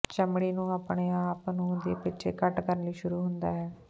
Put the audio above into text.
ਚਮੜੀ ਨੂੰ ਆਪਣੇ ਆਪ ਨੂੰ ਦੇ ਪਿੱਛੇ ਘਟ ਕਰਨ ਲਈ ਸ਼ੁਰੂ ਹੁੰਦਾ ਹੈ